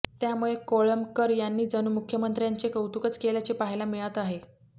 त्यामुळे कोळंबकर यांनी जणू मुख्यमंत्र्यांचे कौतुकच केल्याचे पहायला मिळात आहे